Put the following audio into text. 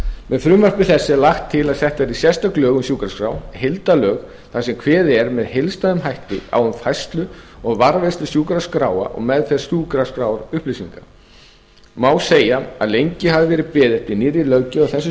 með frumvarpi þessu er lagt til að sett verði sérstök lög um sjúkraskrá heildarlög þar sem kveðið er með heildstæðum hætti á um færslu og varðveislu sjúkraskráa og meðferð sjúkraskrárupplýsinga má segja að lengi hafi verið beðið eftir nýrri löggjöf á þessu